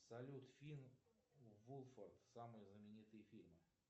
салют финн вулфард самые знаменитые фильмы